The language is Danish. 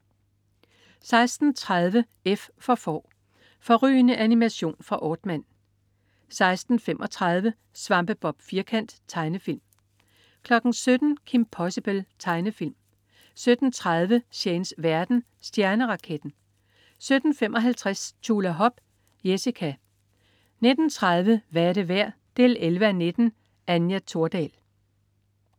16.30 F for Får. Fårrygende animation fra Aardman 16.35 Svampebob Firkant. Tegnefilm 17.00 Kim Possible. Tegnefilm 17.30 Shanes verden. Stjerneraketten 17.55 Tjulahop. Jessica 19.30 Hvad er det værd 11:19. Anja Thordal